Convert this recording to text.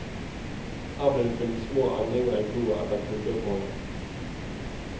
Her ble det funnet små endringer i blodet etter kuldeoppholdet.